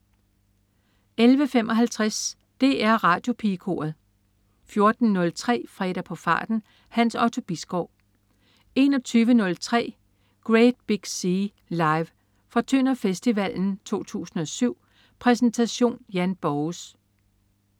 11.55 DR Radiopigekoret 14.03 Fredag på farten. Hans Otto Bisgaard 21.03 Great Big Sea. Live. Fra Tønder Festival 2007. Præsentation: Jan Borges